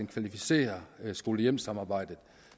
kvalificerer skole hjem samarbejdet